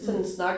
Mh